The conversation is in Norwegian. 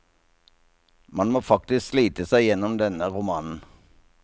Man må faktisk slite seg gjennom denne romanen.